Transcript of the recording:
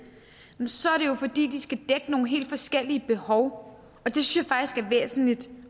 er det jo fordi de skal dække nogle helt forskellige behov